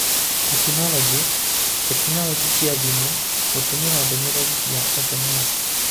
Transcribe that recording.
Tekinoronjĩ: Tekinoronjĩ cia thimũ / Gũtũmĩra ndũmĩrĩri cia SMS